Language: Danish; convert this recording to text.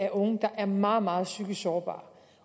af unge der er meget meget psykisk sårbar